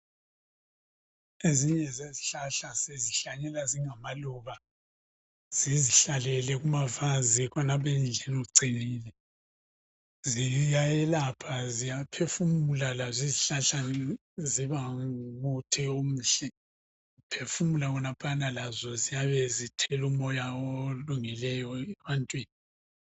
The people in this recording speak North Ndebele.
Ezinye lezihlahlahla sizihlanyela zingamaluba zizihlalele kumavazi khonapho endlini ziyayelapha nxa uphefumula khonapha lazo ziyabe zithela umoya olungileyo ebantwini.